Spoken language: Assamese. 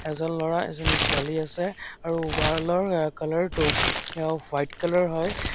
এজন ল'ৰা এজনী ছোৱালী আছে আৰু ৱাল ৰ কালাৰ টো আ হোৱাইট কালাৰ হয়।